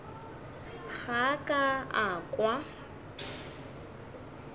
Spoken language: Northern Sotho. ga a ka a kwa